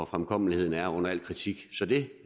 fremkommeligheden er under al kritik så det